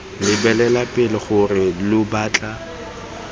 lebelela pele gore lo batla